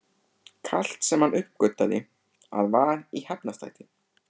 Kalt, sem hann uppgötvaði að var í Hafnarstræti.